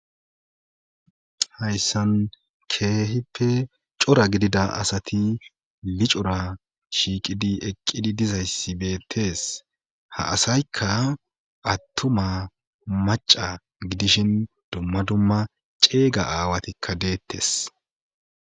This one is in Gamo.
Hayssan keehippe cora gidida asati licora shiiqidi eqqidi dizayssi beettees ha asaykka attuma macca gidishin dumma dumma ceega aawatikka deettes.